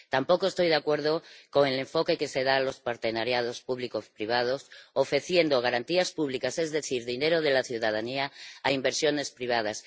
Tampoco estoy de acuerdo con el enfoque que se da a las colaboraciones público privadas ofreciendo garantías públicas, es decir, dinero de la ciudadanía, a inversiones privadas.